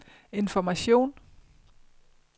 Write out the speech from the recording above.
information